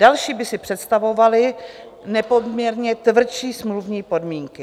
Další by si představovali nepoměrně tvrdší smluvní podmínky.